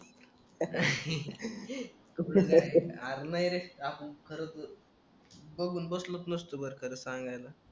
R नाही रे आपण सरकलो बघून बसलोच नसतो बरं त्याला सांगायला